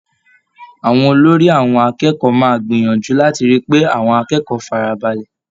Àwọn olórí àwọn akẹ́kọ̀ọ́ máa gbìyànjú láti rí i pé àwọn akẹ́kọ̀ọ́ fara balẹ̀.